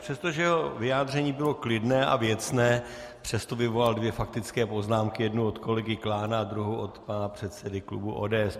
Přestože jeho vyjádření bylo klidné a věcné, přesto vyvolal dvě faktické poznámky - jednu od kolegy Klána a druhou od pana předsedy klubu ODS.